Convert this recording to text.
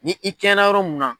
Ni i kɛɲɛnna yɔrɔ mun na